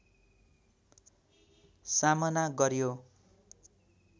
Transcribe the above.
सामना गर्‍यो